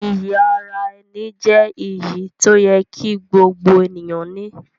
Iyì ara-ẹni jẹ́ iyì tí ó yẹ kí gbogbo ènìyàn ní.